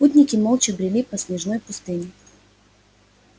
путники молча брели по снежной пустыне